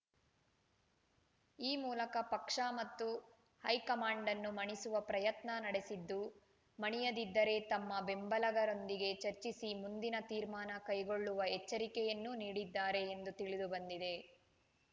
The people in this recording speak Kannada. ಈ ಮೂಲಕ ಪಕ್ಷ ಮತ್ತು ಹೈಕಮಾಂಡನ್ನು ಮಣಿಸುವ ಪ್ರಯತ್ನ ನಡೆಸಿದ್ದು ಮಣಿಯದಿದ್ದರೆ ತಮ್ಮ ಬೆಂಬಲಿಗರೊಂದಿಗೆ ಚರ್ಚಿಸಿ ಮುಂದಿನ ತೀರ್ಮಾನ ಕೈಗೊಳ್ಳುವ ಎಚ್ಚರಿಕೆಯನ್ನೂ ನೀಡಿದ್ದಾರೆ ಎಂದು ತಿಳಿದು ಬಂದಿದೆ